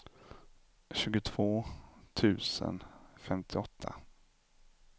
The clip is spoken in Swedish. tjugotvå tusen femtioåtta